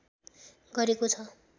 गरेको छ